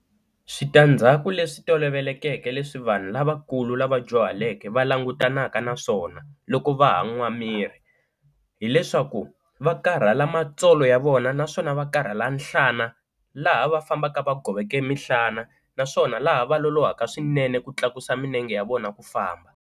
Switandzhaku leswi tolovelekeke leswi vanhu lavakulu lava dyuhaleke va langutanaka na swona loko va ha n'wa miri, hileswaku va karhala matsolo ya vona naswona va karhala nhlana laha va fambaka va goveke emihlanyana naswona laha va lolohaka swinene ku tlakusa milenge ya vona ku famba.